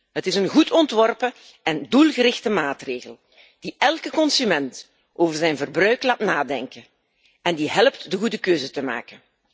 Het is een goed ontworpen en doelgerichte maatregel die elke consument over zijn verbruik laat nadenken en die helpt de goede keuzes te maken.